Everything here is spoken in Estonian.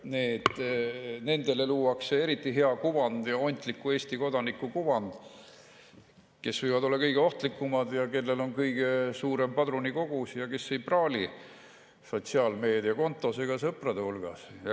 Nendele luuakse eriti hea kuvand, ontliku Eesti kodaniku kuvand, aga nemad võivad olla kõige ohtlikumad, neil on kõige suurem padrunikogus ja nad ei praali sotsiaalmeediakontol ega sõprade hulgas.